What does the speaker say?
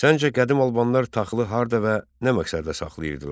Səncə qədim albanlar taxılı harda və nə məqsədlə saxlayırdılar?